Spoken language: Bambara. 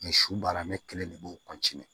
su baara ne kelen de b'o